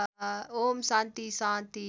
ओम् शान्ति शान्ति